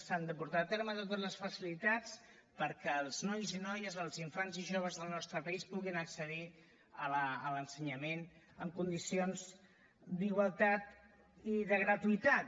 s’han de portar a terme totes les facilitats perquè els nois i noies els infants i joves del nostre país puguin accedir a l’ensenyament amb condicions d’igualtat i de gratuïtat